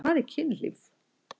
Hvað er kynlíf?